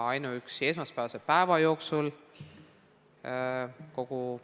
Ainuüksi esmaspäevase päeva jooksul oli neid mitu.